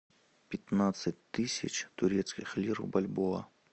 пятнадцать тысяч турецких лир в бальбоа